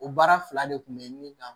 O baara fila de kun be min kan